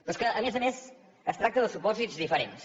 però és que a més a més es tracta de supòsits diferents